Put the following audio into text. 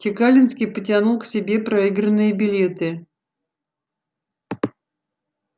чекалинский потянул к себе проигранные билеты